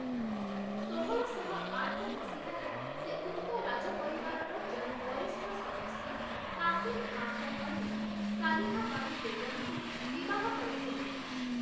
ଷୋହଳଶହ ଆଠ ମସିହାରେ ସେ ଉକ୍ତ ରାଜପରିବାରର ଜଣେ ବରିଷ୍ଠ ସଦସ୍ୟ କାସିମ୍ ଖାଁଙ୍କ କନ୍ୟା 'ସାଲିହା ବାନୁ ବେଗମ୍‌'ଙ୍କୁ ବିବାହ କରିଥିଲେ ।